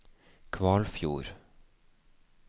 Kvalfjord